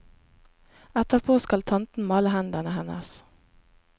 Etterpå skal tanten male hendene hennes.